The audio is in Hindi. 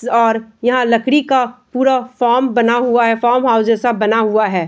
और यहाँ लकड़ी का पूरा फार्म बना हुआ है फार्महाउस जैसा बना हुआ है।